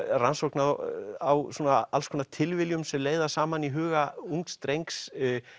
rannsókn á á alls konar tilviljunum sem leiða saman í huga ungs drengs